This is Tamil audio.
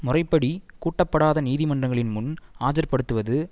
முறைப்படி கூட்டப்படாத நீதிமன்றங்களின் முன் ஆஜர்படுத்துவது